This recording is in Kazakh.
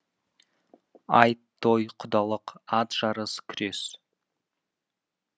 айт той құдалық ат жарыс күрес